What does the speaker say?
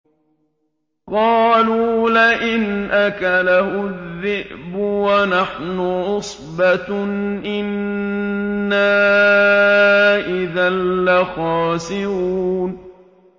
قَالُوا لَئِنْ أَكَلَهُ الذِّئْبُ وَنَحْنُ عُصْبَةٌ إِنَّا إِذًا لَّخَاسِرُونَ